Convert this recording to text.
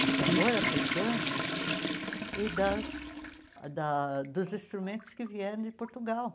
do tambor africano e das da dos instrumentos que vieram de Portugal.